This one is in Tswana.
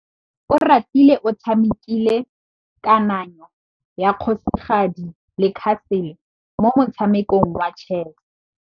Oratile o tshamekile kananyô ya kgosigadi le khasêlê mo motshamekong wa chess.